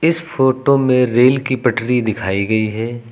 इस फोटो में रेल की पटरी दिखाई गई है।